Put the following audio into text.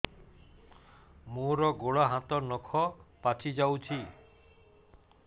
ମୋର ଗୋଡ଼ ହାତ ନଖ ପାଚି ଯାଉଛି